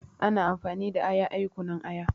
Ana amfani da aya ayi kunun aya